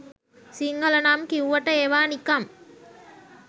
සිංහල නම් කිව්වට ඒවා නිකං